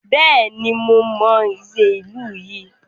Bẹ́ẹ̀ni, mo mọ Nze ìlú yìí.